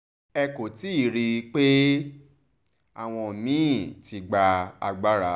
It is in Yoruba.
ẹ kò tí ì rí i pé àwọn mí-ín ti gba agbára